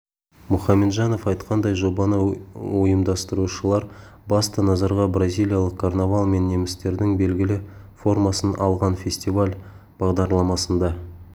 мұхамеджанов айтқандай жобаны ұйымдастырушылар басты назарға бразилиялық карнавал мен немістердің белгілі формасын алған фестивал бағдарламасында